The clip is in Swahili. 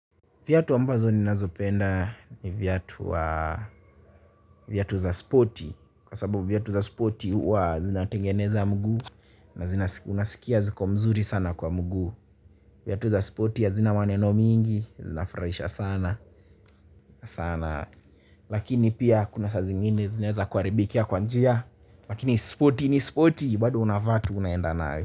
Viatu ambazo ninazopenda ni viatu za spoti. Kwa sababu viatu za spoti huwa zinatengeneza mguu na zina unasikia ziko mzuri sana kwa mguu. Viatu za spoti hazina maneno mingi, zinafurahisha sana, sana. Lakini pia kuna saa zingine zinaeza kuharibikia kwa njia. Lakini spoti ni spoti, bado unavaa tu unaenda nayo.